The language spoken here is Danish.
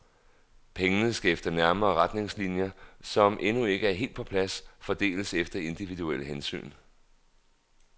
Pengene skal efter nærmere retningslinjer, som endnu ikke er helt på plads, fordeles efter individuelle hensyn.